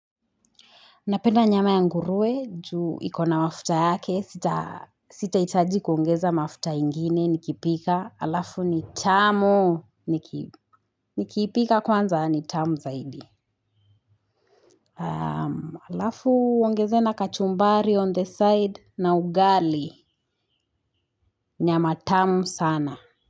Napenda nyama ya nguruwe, juu iko na mafuta yake, sitahitaji kuongeza mafuta ingine nikipika, alafu ni tamu, nikiipika kwanza ni tamu zaidi. Alafu, uongeze na kachumbari on the side na ugali, nyama tamu sana.